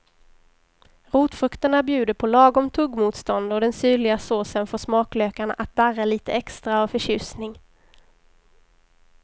Rotfrukterna bjuder på lagom tuggmotstånd och den syrliga såsen får smaklökarna att darra lite extra av förtjusning.